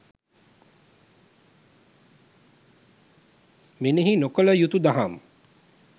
මෙනෙහි නොකළ යුතු දහම්